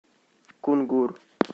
кунгур